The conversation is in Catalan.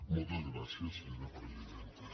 moltes gràcies senyora presidenta